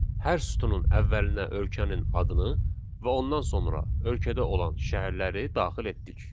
Hər sütunun əvvəlinə ölkənin adını və ondan sonra ölkədə olan şəhərləri daxil etdik.